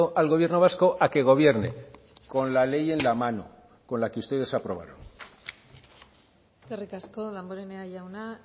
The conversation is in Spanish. al gobierno vasco a que gobierne con la ley en la mano con la que ustedes aprobaron eskerrik asko damborenea jauna